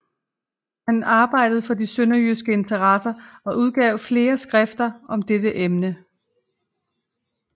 Han arbejdede for de sønderjyske interesser og udgav flere skrifter om dette emne